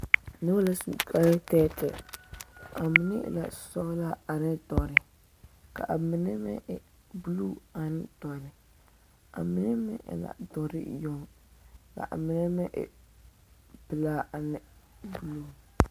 Noba la su bon tɛɛtɛɛ a mine e ka sɔgelaa ane dɔrɛ ka mime meŋ e buluu ane dɔrɛ a mine meŋ e la dɔre yoŋ ka a nine meŋ pelaa ane buluu